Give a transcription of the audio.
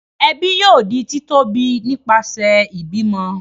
ẹbi yóò di ti tóbi nipasẹ ibimọ.